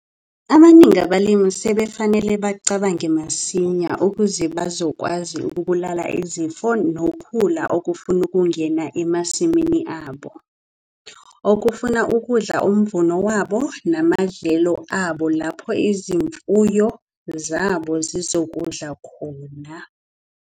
Abaningi abalimi sebafanele bacabange masinya ukuze bazokwazi ukubulala izifo nokhula okufuna ukungena emasimini abo, okufuna ukudla umvuno wabo namadlelo abo lapho izimfuyo zabo zizokudla khona.